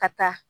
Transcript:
Ka taa